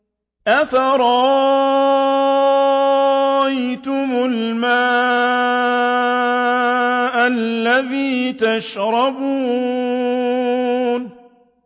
أَفَرَأَيْتُمُ الْمَاءَ الَّذِي تَشْرَبُونَ